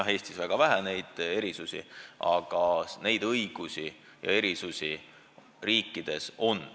Meil Eestis on väga vähe neid erisusi.